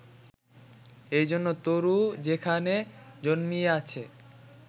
এইজন্য তরু যেখানে জন্মিয়াছে